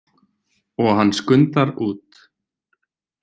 Og hann skundar út.